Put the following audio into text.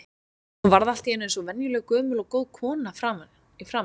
Hún varð allt í einu eins og venjuleg gömul og góð kona í framan.